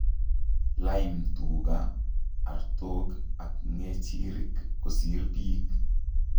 Iime tuuga, artook ak ng'echirik kosiir biik